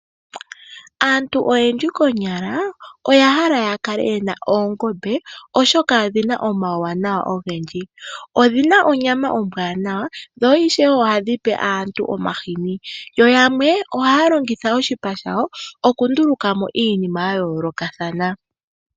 Aantu oyendji konyala oya hala ya kale ye na oongombe, oshoka odhi na omawuwanawa ogendji. Odhi na onyama ombwaanawa dho ishewe ohadhi pe aantu omahini. Yamwe ohaya longitha oshipa shadho okunduluka mo iinima ya yoolokathana.